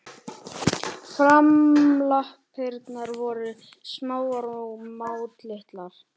Framlappirnar voru smáar og máttlitlar.